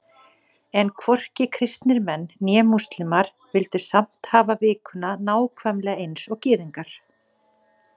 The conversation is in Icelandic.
En hvorki kristnir menn né múslímar vildu samt hafa vikuna nákvæmlega eins og Gyðingar.